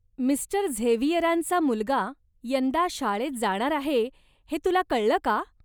मि. झेवियरांचा मुलगा यंदा शाळेत जाणार आहे हे तुला कळलं का?